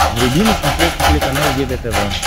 вруби на смотрешке телеканал егэ тв